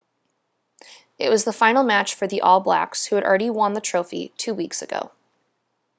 it was the final match for the all blacks who had already won the trophy two weeks ago